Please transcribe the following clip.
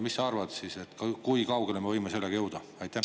Mis sa arvad, kui kaugele me võime sellega jõuda?